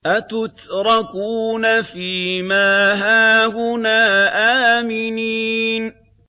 أَتُتْرَكُونَ فِي مَا هَاهُنَا آمِنِينَ